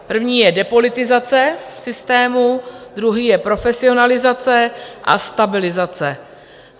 První je depolitizace systému, druhý je profesionalizace a stabilizace.